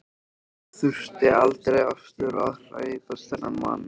Ég þurfti aldrei aftur að hræðast þennan mann.